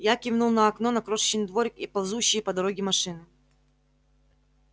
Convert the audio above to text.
я кивнул на окно на крошечный дворик и ползущие по дороге машины